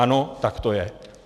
Ano, tak to je.